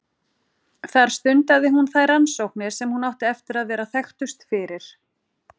þar stundaði hún þær rannsóknir sem hún átti eftir að vera þekktust fyrir